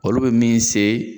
Olu bɛ min se